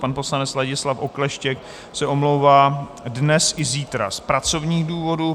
Pan poslanec Ladislav Okleštěk se omlouvá dnes i zítra z pracovních důvodů.